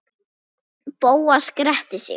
Bóas gretti sig.